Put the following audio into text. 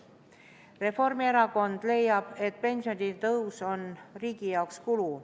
Reformierakond leiab, et pensionitõus on riigi jaoks kulu.